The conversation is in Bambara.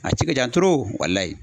A ci ka can